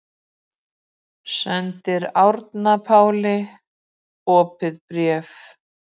Sendir Árna Páli opið bréf